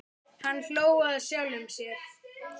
Hann hló að sjálfum sér.